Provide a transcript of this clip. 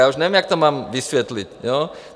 Já už nevím, jak to mám vysvětlit.